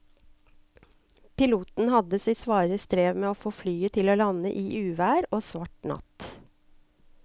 Piloten hadde sitt svare strev med å få landet flyet i uvær og svart natt.